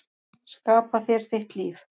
Skapa þér þitt líf.